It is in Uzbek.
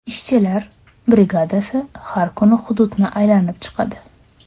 Ishchilar brigadasi har kuni hududni aylanib chiqadi.